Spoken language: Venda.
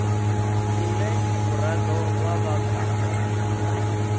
ḽine muraḓo wa vha khaḽo